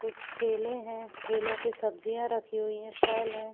कुछ ठेले है ठेलो पे सब्जियां रखी हुई है फल है।